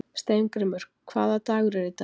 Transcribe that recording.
Steingrímur, hvaða dagur er í dag?